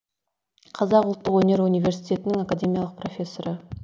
қазақ ұлттық өнер университетінің академиялық профессоры